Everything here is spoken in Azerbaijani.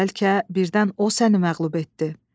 Bəlkə birdən o səni məğlub etdi.